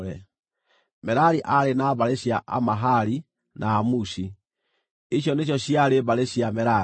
Merari aarĩ na mbarĩ cia Amahali na Amushi; icio nĩcio ciarĩ mbarĩ cia Merari.